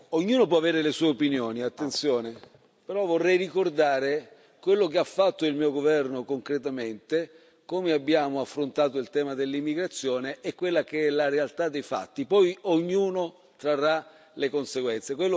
Ognuno può avere le sue opinioni, però vorrei ricordare quello che ha fatto il mio governo concretamente, come abbiamo affrontato il tema dell'immigrazione e quella che è la realtà dei fatti, poi ognuno trarrà le conseguenze.